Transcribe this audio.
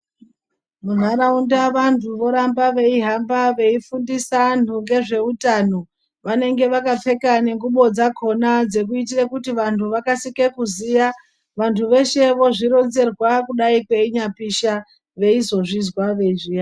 Munharaunda vantu voramba veihamba veifundisa anhu ngezveutano vanenge vakapfeka nengubo dzakona dzekuitire kuti vanhu vakasire kuziya vanhu veshe vozvironzerwa kudai kweinyapisha veizozvizwa.